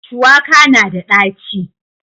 Shuwaka na da ɗaci.